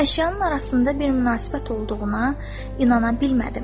Əşyanın arasında bir münasibət olduğuna inana bilmədim.